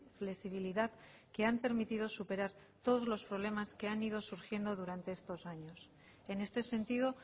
flexibilidad que han permitido superar todos los problemas que han ido surgiendo durante estos años en este sentido